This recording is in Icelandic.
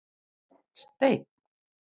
Stein